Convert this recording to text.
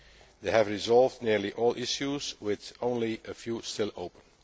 They have resolved nearly all issues with only a few still open.